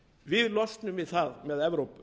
við losnum við það með evrópu